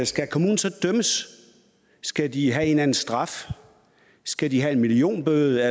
skal kommunen så dømmes skal de have en eller anden straf skal de have en millionbøde